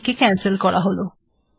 এটিকে ক্যানসেল করা হল